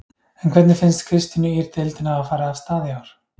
En hvernig finnst Kristínu Ýr deildin hafa farið af stað í ár?